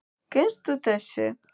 Kynnast þessu.